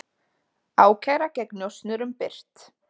Ákæra gegn njósnurum birt